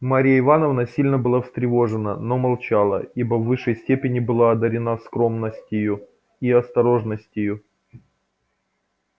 марья ивановна сильно была встревожена но молчала ибо в высшей степени была одарена скромностью и осторожностью